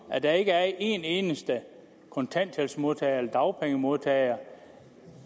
at der ikke er en eneste kontanthjælpsmodtager eller dagpengemodtager